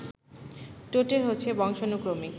totem হচ্ছে বংশানুক্রমিক